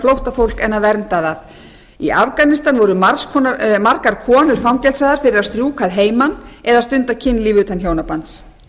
flóttafólk en að vernda það í afganistan voru margar konur fangelsaðar fyrir að strjúka að heiman eða stunda kynlíf utan hjónabands